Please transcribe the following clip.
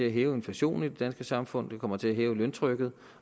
at hæve inflationen i det danske samfund det kommer til at øge løntrykket